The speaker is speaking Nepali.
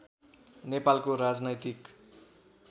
नेपालको राजनैतिक